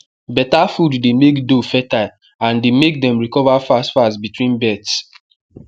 better food dey make doe fertile and dey make dem recover fast fast between births